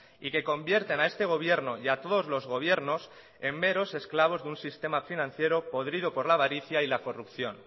y que convierten a este gobierno y a todos los gobiernos en meros esclavos de un sistema financiero podrido por la avaricia y la corrupción